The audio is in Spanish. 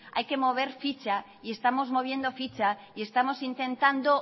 hay que mover ficha y estamos moviendo ficha y estamos intentando